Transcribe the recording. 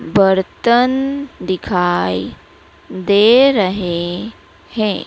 बर्तन दिखाई दे रहे हैं।